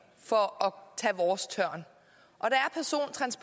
for at tage vores tørn